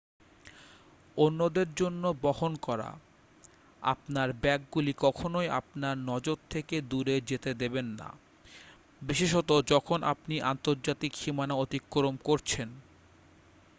অন্যদের জন্য বহন করা আপনার ব্যাগগুলি কখনই আপনার নজর থেকে দূরে যেতে দেবেন না বিশেষত যখন আপনি আন্তর্জাতিক সীমানা অতিক্রম করছেন